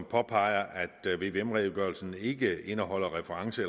påpeger at vvm redegørelsen ikke indeholder